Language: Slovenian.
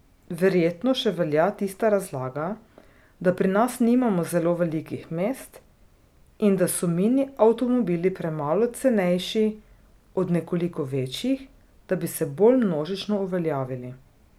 Verjetno še velja tista razlaga, da pri nas nimamo zelo velikih mest in da so mini avtomobili premalo cenejši od nekoliko večjih, da bi se bolj množično uveljavili.